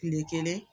Tile kelen